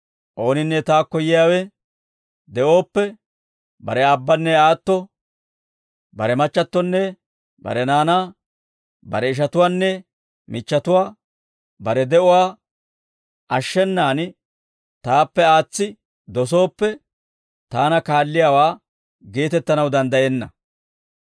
«Ooninne taakko yiyaawe de'ooppe bare aabbanne aatto, bare machchattonne bare naanaa, bare ishatuwaanne michchatuwaa, bare de'uwaa ashshenaan taappe aatsi dosooppe, taana kaalliyaawaa geetettanaw danddayenna.